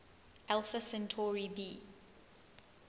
alpha centauri b